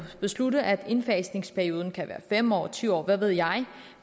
beslutte at indfasningsperioden kan være fem år ti år eller hvad ved jeg